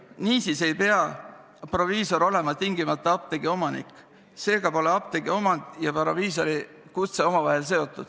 Niisiis ei pea proviisor olema tingimata apteegi omanik ja seega pole apteegiomand ja proviisorikutse omavahel seotud.